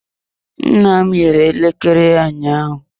Nna m yiri elekere ya ụnyaahụ.